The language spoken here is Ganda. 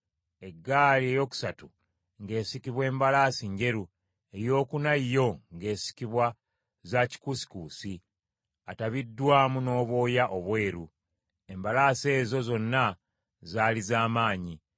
Eggaali eyokusatu ng’esikibwa mbalaasi njeru, eyokuna yo ng’esikibwa za kikuusikuusi atabikiddwamu n’obwoya obweru. Embalaasi ezo zonna zaali z’amaanyi.